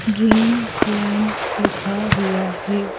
Dream land लिखा हुआ है।